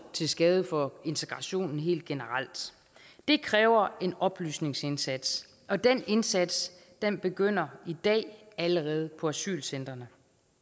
til skade for integrationen helt generelt det kræver en oplysningsindsats og den indsats begynder i dag allerede på asylcentrene